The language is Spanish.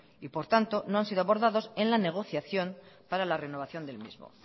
y por tanto no han sido abordados en la negociación para la negociación del mismo